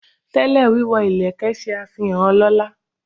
Tẹ́lẹ̀, wíwọ ìlẹ̀kẹ̀ ṣe àfihàn ọlọ́lá.